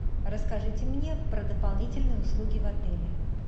расскажите мне про дополнительные услуги в отеле